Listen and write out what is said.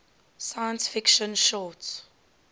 science fiction short